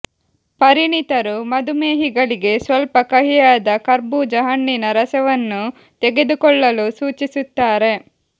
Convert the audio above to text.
ಪರಿಣಿತರು ಮಧುಮೇಹಿಗಳಿಗೆ ಸ್ವಲ್ಪ ಕಹಿಯಾದ ಕರ್ಬೂಜ ಹಣ್ಣಿನ ರಸವನ್ನು ತೆಗೆದುಕೊಳ್ಳಲು ಸೂಚಿಸುತ್ತಾರೆ